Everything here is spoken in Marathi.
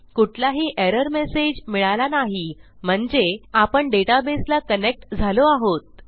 कुठलाही एरर मेसेज मिळाला नाही म्हणजे आपण डेटाबेसला कनेक्ट झालो आहोत